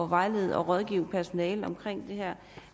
vejlede og rådgive personalet om det her